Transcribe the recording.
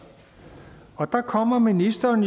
og der kommer ministeren